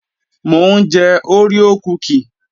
Mò ń jẹ oreo kúkì